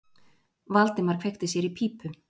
Valdimar kveikti sér í pípu.